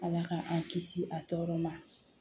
Ala k'an kisi a tɔɔrɔ ma